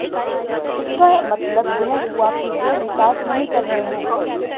इसका मतलब यह हुआ कि वे विकास नहीं कर रहे हैं